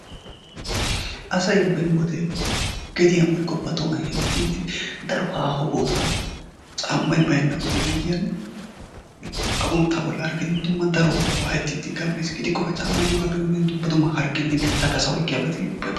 Asay beni wode geediyaan woykko bari tohuwaan heemettidi daro haaho bootaa caammay baynna wodiyaan agunttaa bollara gidin keehin waayettiidi gam"iis. Gidikkoka caammay yoogappe guyiyaan dumma dumma hargee bittaappe asaa oykkiyaabati